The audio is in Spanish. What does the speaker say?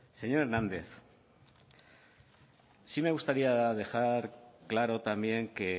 señor hernández sí me gustaría dejar claro también que